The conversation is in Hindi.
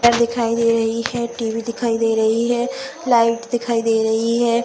दिखाई दे रही है। टी.वी. दिखाई दे रही है। लाईट दिखाई दे रही है।